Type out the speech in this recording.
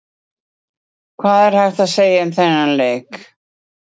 Hvað er hægt að segja um þennan leik?